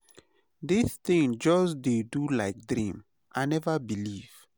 This thing just dey do like dream, i never believe.